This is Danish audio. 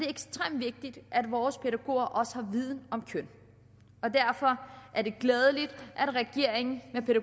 ekstremt vigtigt at vores pædagoger også har en viden om køn og derfor er det glædeligt at regeringen